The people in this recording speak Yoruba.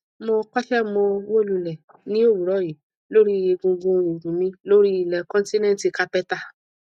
mo kọsẹ mo wó lulẹ ní òwúrọ yí lórí egungun ìrù mi lórí ilẹ kọńtínẹǹtì kápẹtà